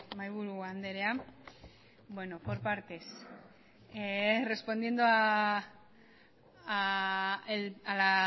mahaiburu andrea bueno por partes respondiendo a la